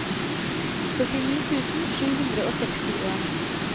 førtini tusen sju hundre og sekstien